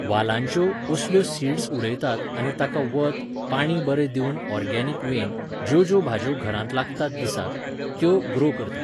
वालांच्यो, असल्यो सीड्स उडयतात आनी ताका वत, पाणी बरें दिवून ऑर्गेनिक वेन, ज्यो ज्यो भाज्ज्यो घरांत लागतात दिसाक, त्यो ग्रो करतात